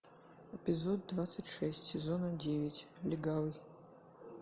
эпизод двадцать шесть сезона девять легавый